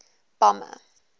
bomber